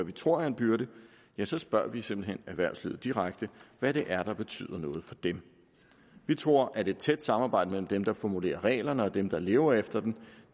vi tror er en byrde så spørger vi simpelt hen erhvervslivet direkte hvad det er der betyder noget for dem vi tror at et tæt samarbejde mellem dem der formulerer reglerne og dem der lever efter dem